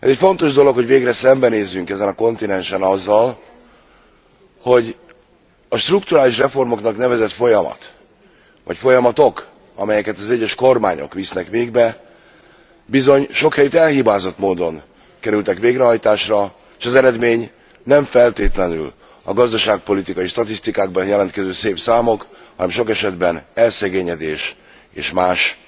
Fontos dolog, hogy végre szembenézzünk ezen a kontinensen azzal, hogy a strukturális reformoknak nevezett folyamat vagy folyamatok, amelyeket az egyes kormányok visznek végbe, bizony sok helyütt elhibázott módon kerültek végrehajtásra, és az eredmény nem feltétlenül a gazdaságpolitikai statisztikákban jelentkező szép számok, hanem sok esetben az elszegényedés és más,